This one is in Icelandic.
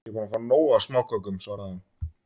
Ég er búin að fá nóg af smákökum, svaraði hún.